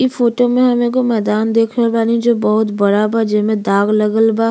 इ फोटो में हम एगो मैदान देख रहल बानी जो बहुत बड़ा बा जेमे दाग लगल बा।